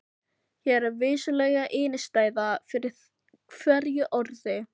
Hér er vissulega innistæða fyrir hverju orði.